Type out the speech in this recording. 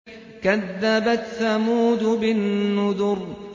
كَذَّبَتْ ثَمُودُ بِالنُّذُرِ